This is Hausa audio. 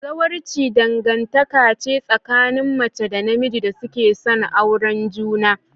Zawarci dangantaka ce tsakanin mace da namiji da suke son auren juna.